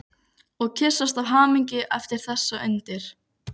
Og kyssast af hamingju yfir þessu undri.